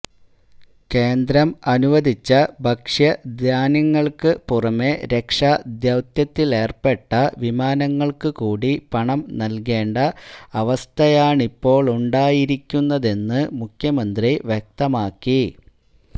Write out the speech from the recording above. കേന്ദ്രം അനുവദിച്ച ഭക്ഷ്യധാന്യങ്ങള്ക്ക് പുറമെ രക്ഷാദൌത്യത്തിലേര്പ്പെട്ട വിമാനങ്ങള്ക്ക് കൂടി പണം നല്കേണ്ട അവസ്ഥയാണിപ്പോഴുണ്ടായിരിക്കുന്നതെന്ന് മുഖ്യമന്ത്രി വ്യക്തമാക്കി